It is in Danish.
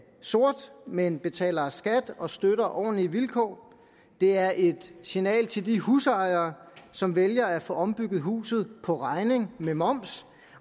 sort men betaler skat og støtter ordentlige vilkår det er et signal til de husejere som vælger at få ombygget huset på regning med moms